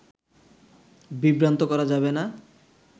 বিভ্রান্ত করা যাবে না